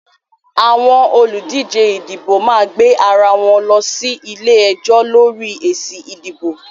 Àwọn olùdíjẹ ìdìbò máa gbé ara wọn lọ sí ilé-ẹjọ́ lọ́rí èsì ìdìbò